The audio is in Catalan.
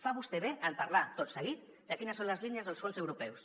fa vostè bé en parlar tot seguit de quines són les línies dels fons europeus